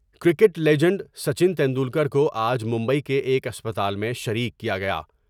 Cricket legend Sachin Tendulkar کو آج ممبئی کے ایک اسپتال میں شریک کیا گیا ۔